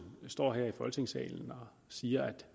står her i folketingssalen og siger at